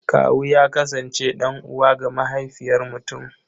Kawu ya kasance ɗan'uwa ga mahaifiyar mutum.